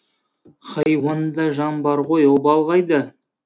хайуанда жан бар ғой обал қайда